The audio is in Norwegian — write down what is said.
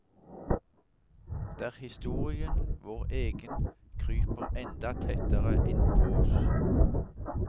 Der historien, vår egen, kryper enda tettere innpå oss.